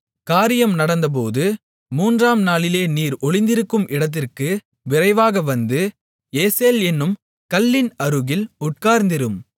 காரியம் நடந்தபோது மூன்றாம் நாளிலே நீர் ஒளிந்திருக்கும் இடத்திற்கு விரைவாக வந்து ஏசேல் என்னும் கல்லின் அருகில் உட்கார்ந்திரும்